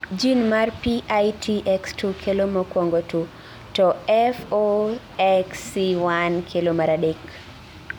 jin mar PITX2 kelo mokuongo to FOXC1 kelo mar adek